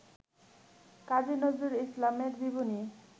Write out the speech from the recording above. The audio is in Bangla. কাজী নজরুল ইসলামের জীবনী